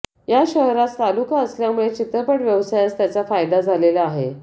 या शहरास तालुका असल्यामुळे चित्रपट व्यवसायास त्याचा फायदा झालेला आहे